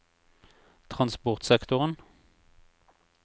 transportsektoren